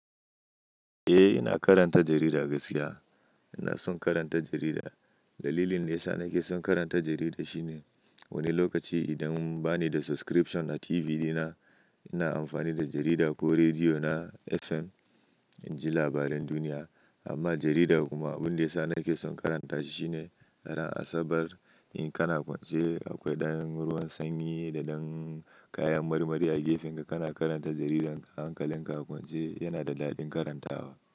Eh, ina karanta jarida gaskiya. Ina son karanta jarida. Dalilin da yasa nake son karanta jarida shine wani lokaci idan bani da subscription a TV dina, ina amfani da jarida ko rediyo na FM in ji labaran duniya. Amma jarida kuma abin da ya sa nake son karanta shi shine ran asabar in kana kwance akwai ɗan ruwan sanyi da ɗan kayan marmari a gefinka, kana karanta jaridar hankalin ka a kwance yana da daɗin karantawa.